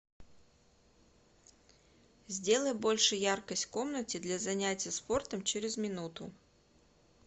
сделай больше яркость в комнате для занятия спортом через минуту